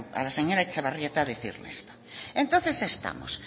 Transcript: a la señora etxebarrieta decirle entonces estamos